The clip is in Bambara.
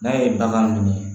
N'a ye bagan minɛ